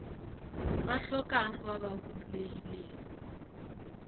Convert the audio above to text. ba hlokang ba ba huduegilego